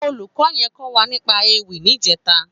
Ólúkò yèn kò wà nípà Éwì nijètá